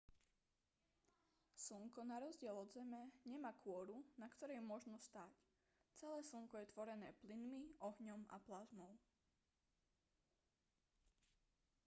slnko na rozdiel od zeme nemá kôru na ktorej môžno stáť celé slnko je tvorené plynmi ohňom a plazmou